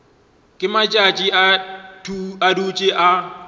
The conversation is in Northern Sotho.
ge matšatši a dutše a